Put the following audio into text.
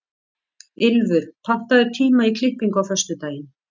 Ylfur, pantaðu tíma í klippingu á föstudaginn.